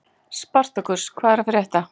Spartakus, hvað er að frétta?